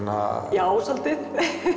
já svolítið